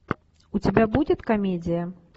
у тебя будет комедия